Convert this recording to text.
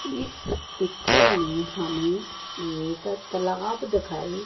इस पिक्चर में हमें एक तलाब दिखाई--